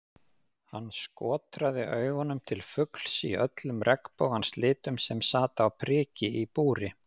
Hann skotraði augunum til fugls í öllum regnbogans litum sem sat á priki í búri.